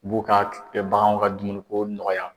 b'u ka baganw ka dumuniko nɔgɔya.